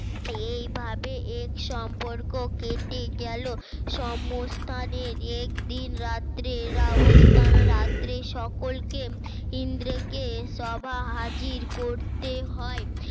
এইভাবে এক সম্পর্ক কেটে গেল সমস্থানের একদিন রাত্রে এর অবস্থানরাত্রে সকলকে ইন্দ্রকে সভা হাজির করতে হয়